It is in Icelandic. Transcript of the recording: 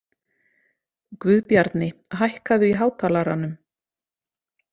Guðbjarni, hækkaðu í hátalaranum.